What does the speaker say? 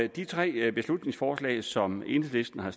de tre beslutningsforslag som enhedslisten har